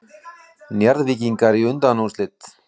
Njarðvíkingar í undanúrslit